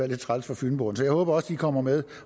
lidt træls for fynboerne så jeg håber de også kommer med